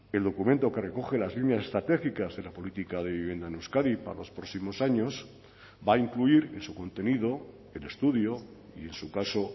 el documento que recoge las líneas estratégicas de la política de vivienda en euskadi para los próximos años va a incluir en su contenido el estudio y en su caso